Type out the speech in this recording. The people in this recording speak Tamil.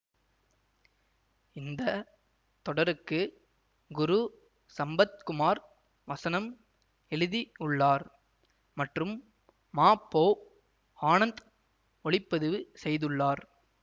இந்த தொடருக்கு குரு சம்பத்குமார் வசனம் எழுதி உள்ளார் மற்றும் மா பொ ஆனந்த் ஒளிபதிவு செய்துள்ளார்